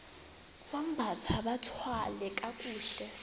bambathe bathwale kakuhle